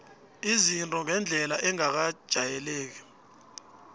izinto ngendlela engakajayeleki